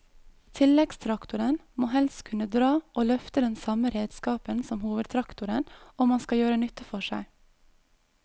Tilleggstraktoren må helst kunne dra og løfte den samme redskapen som hovedtraktoren om han skal gjøre nytte for seg.